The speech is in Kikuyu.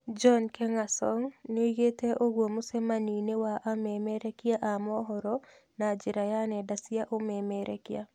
John Nkengasong nĩoigĩte ũguo mũcemanio-inĩ wa amemerekia a mohoro na njĩra ya nenda cia ũmemerekia